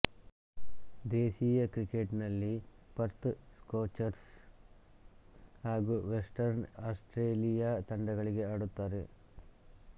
ದೇಶೀಯ ಕ್ರಿಕೆಟ್ನಲ್ಲಿ Perth Scorchers ಹಾಗೂ ವೆಸ್ಟರ್ನ್ ಆಸ್ಟ್ರೇಲಿಯಾ ತಂಡಗಳಿಗೆ ಆಡುತ್ತಾರೆ